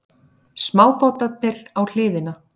Smábátarnir á hliðina.